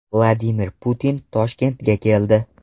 Vladimir Putin Toshkentga keldi.